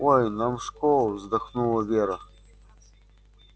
ой нам в школу вздохнула вера